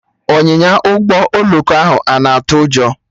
Ọnyịnya Ụgbọ oloko ahụ ana atụ ụjọ?